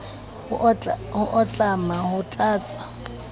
ho a tlama ho tlatsa